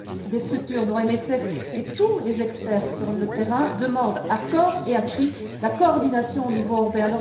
Des structures, dont MSF, et tous les experts sur le terrain demandent à cor et à cri la coordination au niveau européen.